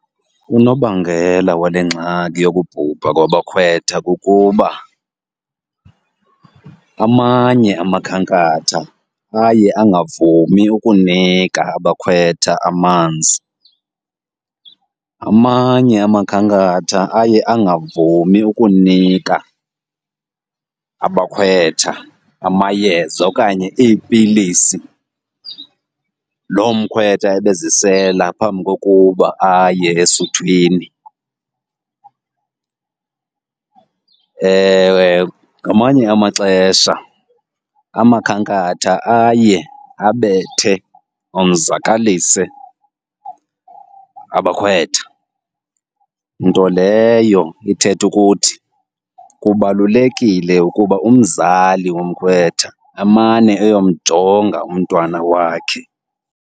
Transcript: Unobangela wale ngxaki yokubhubha kwabakhwetha kukuba amanye amakhankatha aye angavumi ukunika abakhwetha amanzi, amanye amakhankatha aye angavumi ukunika abakhwetha amayeza okanye iipilisi loo mkhwetha ebezisela phambi koba aye esuthwini. Ngamanye amaxesha amakhankatha aye abethe, onzakalise abakhwetha, nto leyo ithetha ukuthi kubalulekile ukuba umzali womkhwetha amane eyomjonga umntwana wakhe.